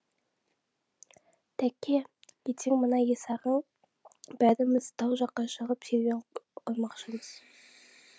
тәке ертең мына есағаң бәріміз тау жаққа шығып серуен құрмақшымыз